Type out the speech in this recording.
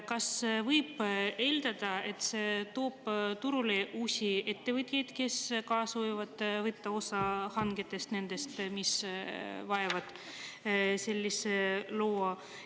Kas võib eeldada, et see toob turule uusi ettevõtjaid, kes ka soovivad võtta osa hangetest, nendest, mis vajavad sellist luba?